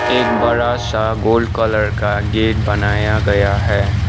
एक बड़ासा gold colour का गेट बनाया गया है।